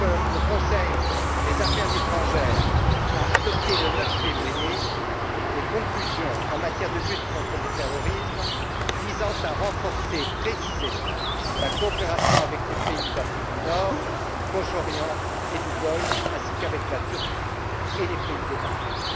Le Conseil des affaires étrangères a adopté le 9 février des conclusions en matière de lutte contre le terrorisme visant à renforcer précisément la coopération avec les pays d'Afrique du Nord, du Proche Orient et du Golfe ainsi qu'avec la Turquie et les pays des Balkans.